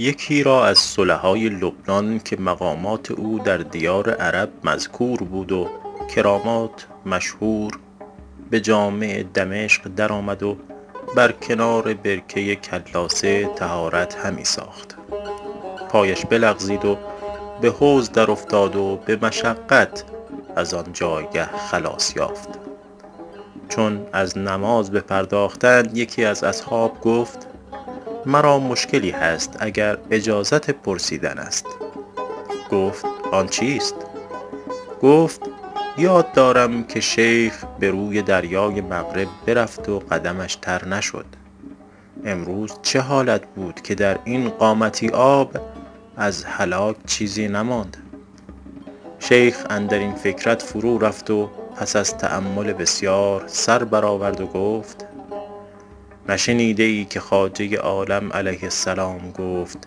یکی از صلحای لبنان که مقامات او در دیار عرب مذکور بود و کرامات مشهور به جامع دمشق در آمد و بر کنار برکه کلاسه طهارت همی ساخت پایش بلغزید و به حوض در افتاد و به مشقت از آن جایگه خلاص یافت چون از نماز بپرداختند یکی از اصحاب گفت مرا مشکلی هست اگر اجازت پرسیدن است گفت آن چیست گفت یاد دارم که شیخ به روی دریای مغرب برفت و قدمش تر نشد امروز چه حالت بود که در این قامتی آب از هلاک چیزی نماند شیخ اندر این فکرت فرو رفت و پس از تأمل بسیار سر بر آورد و گفت نشنیده ای که خواجه عالم علیه السلام گفت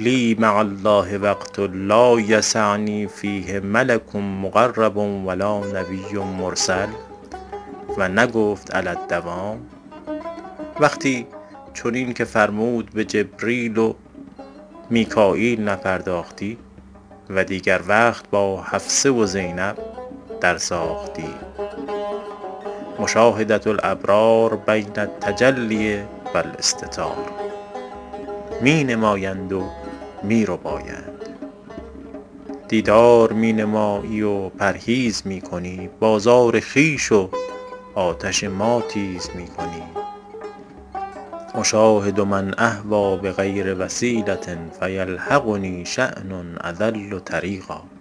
لی مع الله وقت لا یسعنی فیه ملک مقرب و لا نبی مرسل و نگفت علی الدوام وقتی چنین که فرمود به جبرییل و میکاییل نپرداختی و دیگر وقت با حفصه و زینب در ساختی مشاهدة الابرار بین التجلی و الاستتار می نمایند و می ربایند دیدار می نمایی و پرهیز می کنی بازار خویش و آتش ما تیز می کنی اشاهد من اهویٰ بغیر وسیلة فیلحقنی شأن اضل طریقا